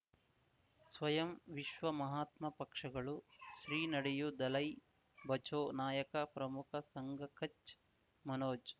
ಸ್ವಯಂ ವಿಶ್ವ ಮಹಾತ್ಮ ಪಕ್ಷಗಳು ಶ್ರೀ ನಡೆಯೂ ದಲೈ ಬಚೌ ನಾಯಕ ಪ್ರಮುಖ ಸಂಘ ಕಚ್ ಮನೋಜ್